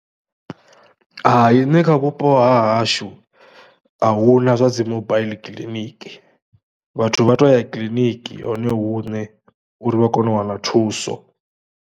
Hai nṋe kha vhupo ha hashu, a hu na zwa dzi mobile kiḽiniki, vhathu vha tou ya kiḽiniki hone huṋe uri vha kone u wana thuso.